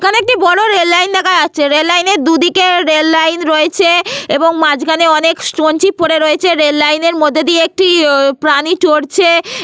এখানে একটি বড় রেল লাইন দেখা যাচ্ছে। রেল লাইনের দুদিকে রেল লাইন রয়েছে এবং মাঝখানে অনেক স্টোন চিপ পরে রয়েছে। রেল লাইনের মধ্যে দিয়ে একটি আহ প্রাণী চড়ছে ।